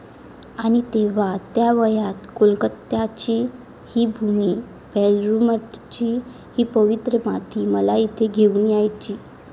आणि तेव्हा त्या वयात कोलकात्याची ही भूमी, बेलूरमठची ही पवित्र माती मला इथे घेऊन यायची.